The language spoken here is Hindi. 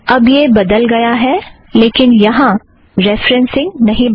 अब यह बदल गया लेकिन रेफ़रेन्ससिंग नहीं बदला